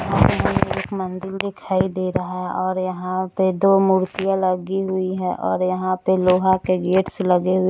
यहाँ पे हमे एक मंदिर दिखाई दे रहा है और यहां पे दो मूर्तियां लगी हुई है और यहां पर लोहा के गेटस से लगे हुए --